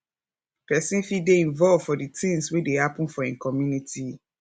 person fit dey involved for di things wey dey happen for im community